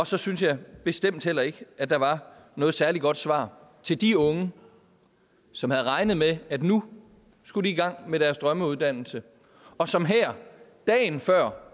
så synes jeg bestemt heller ikke at der var noget særlig godt svar til de unge som havde regnet med at de nu skulle i gang med deres drømmeuddannelse og som her dagen før